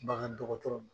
Bagan dɔgɔtɔrɔ